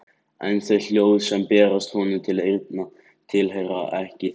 En þau hljóð sem berast honum til eyrna tilheyra ekki þessu húsi.